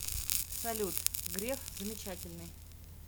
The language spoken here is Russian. салют греф замечательный